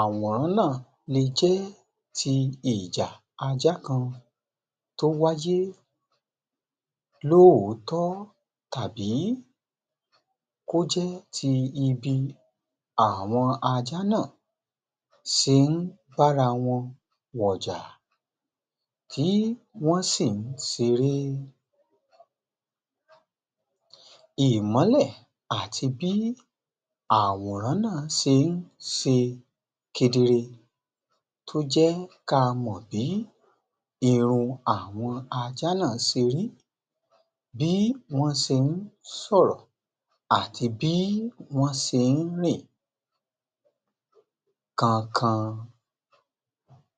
Àwòrán náà lè jẹ́ ti ìjà ajá kan tó wáyé lóòtọ́, tàbí kó jẹ́ ti ibi àwọn ajá náà ṣe ń bára wọn wọ̀jà, tí wọ́n sì ń ṣeré. Ìmólẹ̀ àti bí àwòrán náà ṣe ń ṣe kedere tó jẹ́ kí á mọ̀ bí irun àwọn ajá náà ṣe rí, bí wọ́n ṣe ń sọ̀rọ̀ àti bí wọ́n ṣe ń rìn kánkán